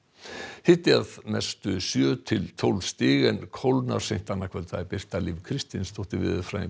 hiti að mestu sjö til tólf stig en kólnar seint annað kvöld Birta Líf Kristinsdóttir veðurfræðingur